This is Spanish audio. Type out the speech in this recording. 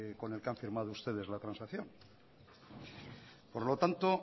con el que han firmado ustedes la transacción por lo tanto